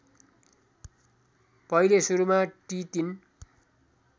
पहिले सुरुमा टि ३